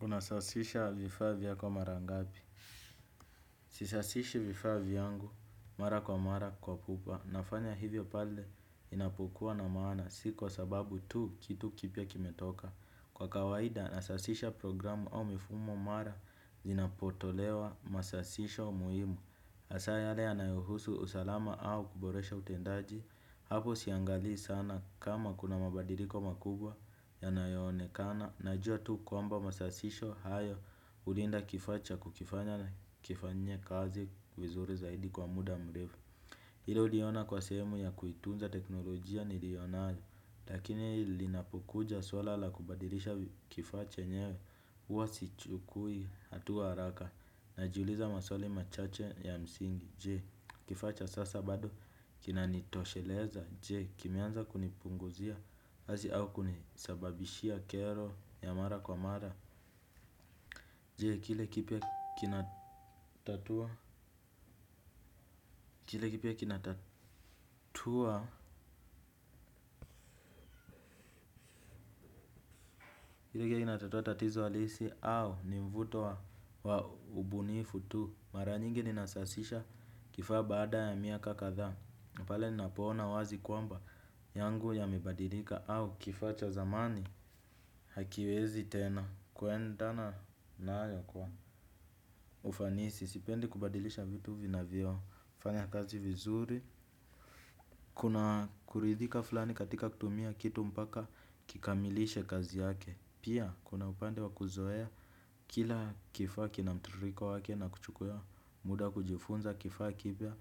Unasasisha vifaa vya ko mara ngapi? Sisasishi vifaa vyangu mara kwa mara kwa pupa. Nafanya hivyo pale inapokuwa na maana sikwa sababu tu kitu kipya kimetoka. Kwa kawaida nasasisha programu au mifumo mara zinapotolewa masasisho muhimu. Hasa yale yanayohusu usalama au kuboresha utendaji. Hapo siangalii sana kama kuna mabadiliko makubwa yanayoonekana. Najua tu kwamba masasisho hayo hulinda kifaa cha kukifanya na kifanyie kazi vizuri zaidi kwa muda mrefu. Hilo huliona kwa sehemu ya kuitunza teknolojia nilionayo. Lakini linapokuja swala la kubadilisha kifaa chenyewe huwa sichukui hatua haraka. Najiuliza maswali machache ya msingi je kifaa cha sasa bado kinanitosheleza je kimeanza kunipunguzia kazi au kunisabishia kero ya mara kwa mara, je kile kipya kinatatua, kile kipya kinatatua, kile kipya kinatatua tatizo halisi au nimvuto wa ubunifu tu. Mara nyingi ni nasasisha kifaa baada ya miaka kathaa. Napale ni napoona wazi kwamba yangu yamebadilika au kifaa cha zamani hakiwezi tena. Kuendana na yo kwa ufanisi, sipendi kubadilisha vitu vina vyo, fanya kazi vizuri, kuna kuridhika fulani katika kutumia kitu mpaka kikamilishe kazi yake. Pia kuna upande wa kuzoea kila kifaa ki na mtiririko wake na kuchukua muda kujifunza kifaa kipya.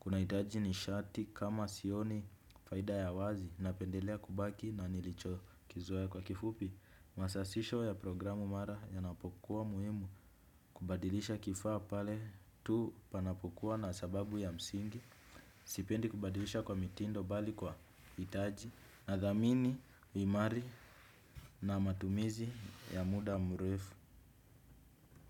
Kuna hitaji ni shati kama sioni faida ya wazi na pendelea kubaki na nilicho kizoea kwa kifupi. Masasisho ya programu mara ya napokuwa muhimu kubadilisha kifaa pale tu panapokuwa na sababu ya msingi. Sipendi kubadilisha kwa mitindo bali kwa hitaji na dhamini, imari na matumizi ya muda mrefu.